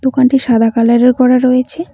দোকানটি সাদা কালার -এর করা রয়েছে।